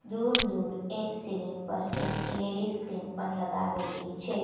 દૂર દૂર એક સીલીંગ પર એક એલ_ઇ_ડી સ્ક્રીન પણ લગાવેલી છે.